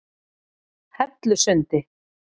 Hellusundi